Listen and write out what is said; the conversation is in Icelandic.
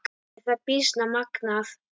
Er það býsna magnað.